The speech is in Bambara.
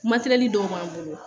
Matɛrɛli dɔw b'an bolo